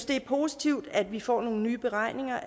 det er positivt at vi får nogle nye beregninger